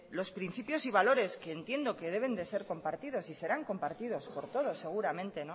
los principios y valores que entiendo que deben de ser compartidos y serán compartidos por todos seguramente